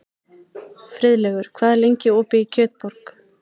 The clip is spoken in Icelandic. Friðlaugur, hvað er lengi opið í Kjötborg?